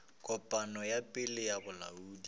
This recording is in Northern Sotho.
kopano ya pele ya bolaodi